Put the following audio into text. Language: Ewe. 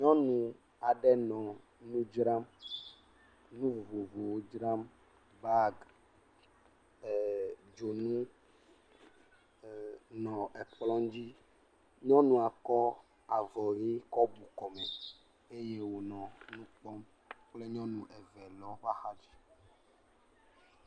Nyɔnu aɖe nɔ nu dzra, nu vovovowo dzram, bagi, dzonu, nɔ kplɔ dzi nyɔnua kɔ avɔ ʋi kɔ bu kɔme eye wònɔ kpɔm kple nyɔnu eve nɔ eƒe exa dzi.